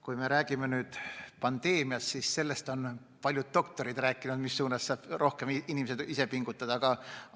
Kui me räägime pandeemiast, siis sellest, kuidas saavad inimesed ise rohkem pingutada, on rääkinud paljud doktorid.